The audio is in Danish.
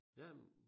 Jamen